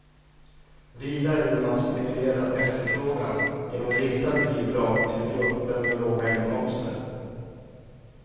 Vidare vill man stimulera efterfrågan genom riktade bidrag till grupper med låga inkomster.